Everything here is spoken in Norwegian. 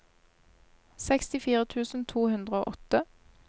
sekstifire tusen to hundre og åtte